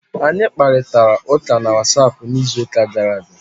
Anyị kparịtara ụka na whatapp n'izuụka gara aga